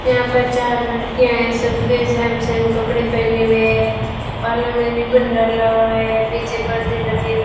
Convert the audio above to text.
यहां पर चार लड़कियां हैं सबने सेम सेम कपड़े पहने हुए बालों में रीबन डाला हुआ है पीछे पर्दे लगे हुए --